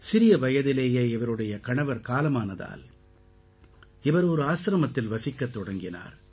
சிறிய வயதிலேயே இவருடைய கணவர் காலமானதால் இவர் ஒரு ஆசிரமத்தில் வசிக்கத் தொடங்கினார்